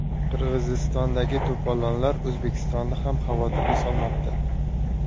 Qirg‘izistondagi to‘polonlar O‘zbekistonni ham xavotirga solmoqda.